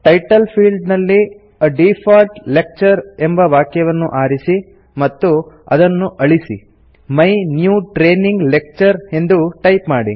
title field ನಲ್ಲಿ A default lecture ಎಂಬ ವಾಕ್ಯವನ್ನು ಆರಿಸಿ ಮತ್ತು ಅದನ್ನು ಅಳಿಸಿ ಮೈ ನ್ಯೂ ಟ್ರೇನಿಂಗ್ ಲೆಕ್ಚರ್ ಎಂದು ಟೈಪ್ ಮಾಡಿ